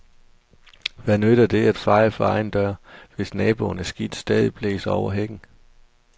Hvad nytter det at feje for egen dør, hvis naboens skidt stadig blæser over hækken?